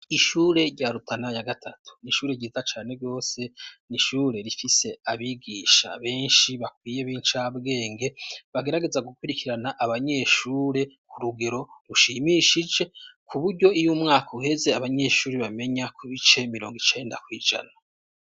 Ishure rya Rutana ya gatatu, n'ishure ryiza cane rwose, n'ishure rifise abigisha benshi bakwiye, b'incabwenge, bagerageza gukurikirana abanyeshure ku rugero rushimishije, kuburyo iy'umwaka uheze, abanyeshuri bamenya ku bice mirongo icenda kw'ijana.